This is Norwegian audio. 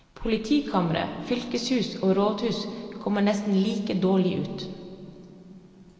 Politikamre, fylkeshus og rådhus kommer nesten like dårlig ut.